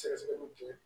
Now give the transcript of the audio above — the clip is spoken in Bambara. Sɛgɛsɛgɛli kɛ